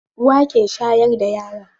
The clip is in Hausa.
Uwa ke shayar da yara.